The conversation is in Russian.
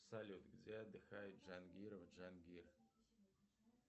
салют где отдыхает джангирова джангир